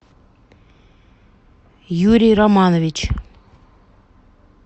юрий романович